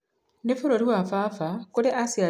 Nĩ bũrũri wa baba kũrĩa aciarĩiruo na kũrererũo